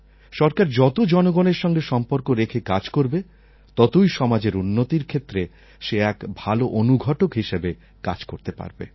সরকার যত জনগণের সঙ্গে সম্পর্ক রেখে কাজ করবে ততই সমাজের উন্নতির ক্ষেত্রে সে এক ভাল অনুঘটক হিসাবে কাজ করতে পারবে